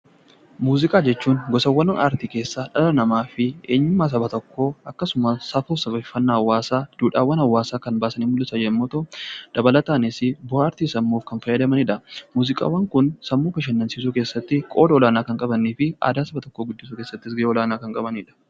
Muuziqaa jechuun gosoota aartii keessaa dhala namaa fi eenyummaa Saba tokkoo akkasumas safuu hawaasaa duudhaawwan hawaasaa kan baasanii mul'isan yommuu ta'u, dabalataan bu'aa aartii sammuuf kan fayyadanidha. Muuziqaan Kun sammuu bashannansiisuu keessatti qooda olaanaa kan qabuu fi aadaa Saba tokkoo illee ni mul'isa